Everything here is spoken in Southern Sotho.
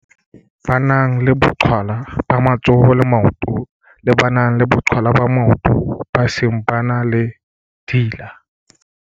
ba nang le boqhwala ba matsoho le maoto le ba nang le boqhwala maotong ba seng ba na le dila.